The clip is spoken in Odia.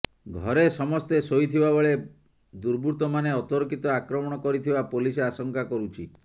ଘରେ ସମସ୍ତେ ଶୋଇଥିବା ବେଳେ ଦୁର୍ବୃତ୍ତମାନେ ଅତର୍କିତ ଆକ୍ରମଣ କରିଥିବା ପୋଲିସ ଆଶଙ୍କା କରୁଛି